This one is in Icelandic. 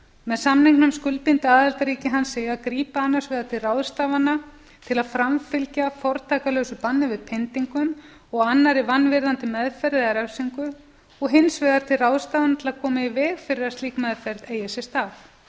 með samningnum skuldbinda aðildarríki hans sig að grípa annars vegar til ráðstafana til að framfylgja fortakslausu banni við pyndingum og annarri vanvirðandi meðferð refsingu og hins vegar til ráðstafana til að koma í veg fyrir að slík meðferð eigi sér stað